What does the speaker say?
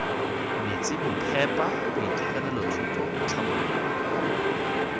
metsi bophepa boitekanelo thuto tlhabololo